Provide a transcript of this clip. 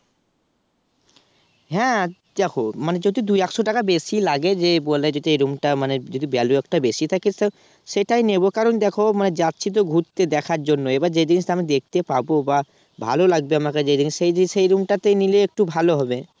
হ্যাঁ দেখো মানে যদি দুই একশ টাকা বেশি লাগে যে বলে যে এই Room টা মানে বেলু একটা বেশি থাকে তো সেটাই নেব কারণ দেখো মানে যাচ্ছি তো ঘুরতে দেখার জন্য এবার যে জিনিসটা আমি দেখতে পাবো বা ভাল লাগবে আমাকে যেই জিনিস সেই জিনিস সেই Room টাতে নিলে একটু ভালো হবে